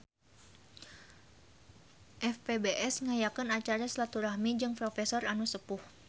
FPBS ngayakeun acara silaturahmi jeung profesor anu sepuh